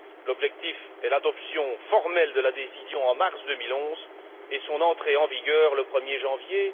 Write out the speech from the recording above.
L'objectif est l'adoption formelle de la décision en mars 2011 et son entrée en vigueur le 1er janvier